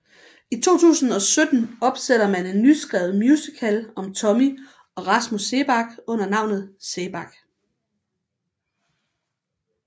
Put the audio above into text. I 2017 opsætter man en nyskrevet musical om Tommy og Rasmus Seebach under navnet Seebach